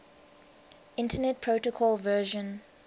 internet protocol version